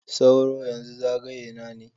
Sauro, yanzu zagaye na ne.